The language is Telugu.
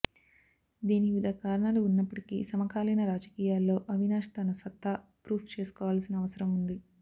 దీనికి వివిధ కారణాలు ఉన్నప్పటికీ సమకాలీన రాజకీయాల్లో అవినాష్ తన సత్తా ఫ్రూవ్ చేసుకోవాల్సిన అవసరం ఉంది